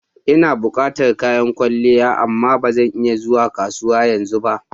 Ina bukatan kayan kwalliya amma ba zan iya zuwa kasuwa yanzu ba.